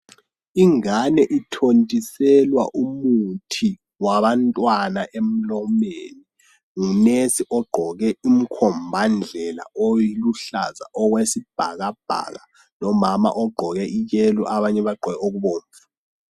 Ingane ithontiselwa umuthi wabantwana emlomeni ngunurse ogqoke umkhombandlela oluhlaza okwesibhakabhaka lomama ogqoke iyellow abanye bagqoke okubomvu.